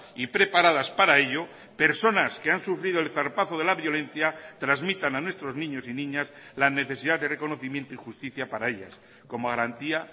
y preparadas para ello personas que han sufrido el zarpazo de la violencia transmitan a nuestros niños y niñas la necesidad de reconocimiento y justicia para ellas como garantía